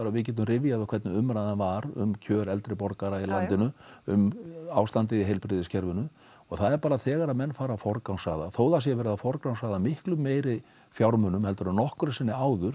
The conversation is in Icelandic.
við getum rifjað upp hvernig umræðan var um kjör eldri borgara í landinu um ástandið í heilbrigðiskerfinu og það er bara þegar menn fara að forgangsraða þó það sé verið að forgangsraða miklu meiri fjármunum heldur en nokkru sinni áður